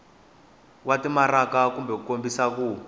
wa timaraka ku kombisa ku